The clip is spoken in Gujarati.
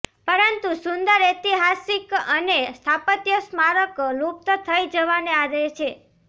પરંતુ સુંદર ઐતિહાસિક અને સ્થાપત્ય સ્મારક લુપ્ત થઇ જવાને આરે છે